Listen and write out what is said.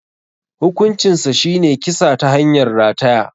Hukuncinsa shine kisa ta hanyar rataya.